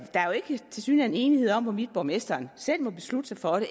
tilsyneladende ikke enighed om hvorvidt borgmesteren selv må beslutte sig for